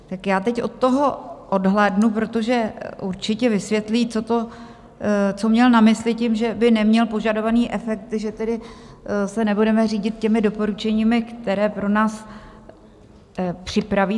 Tak já teď od toho odhlédnu, protože určitě vysvětlí, co měl na mysli tím, že by neměl požadovaný efekt, že tedy se nebudeme řídit těmi doporučeními, která pro nás připraví.